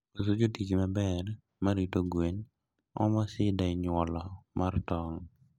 Koso jotich maber marito gwen omo shida e nyuolo mar tong